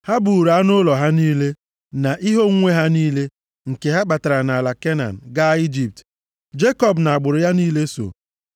Ha buuru anụ ụlọ ha niile, na ihe onwunwe ha niile, nke ha kpatara nʼala Kenan, gaa Ijipt. Jekọb na agbụrụ ya niile so.